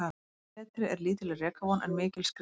Betri er lítil rekavon en mikil skriðuvon.